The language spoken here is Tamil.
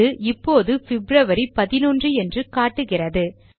இது இப்போது பிப்ரவரி 11 என்று காட்டுகிறது